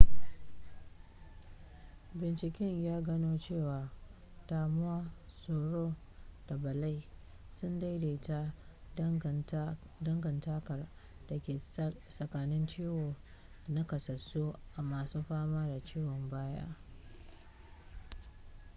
binciken ya gano cewa damuwa tsoro da bala'i sun daidaita dangantakar da ke tsakanin ciwo da nakasassu a masun fama da ciwon baya